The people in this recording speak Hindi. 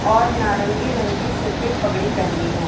और नारंगी रंग की सिर पर पगड़ी पहनी है।